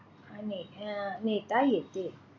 अं नेता येते.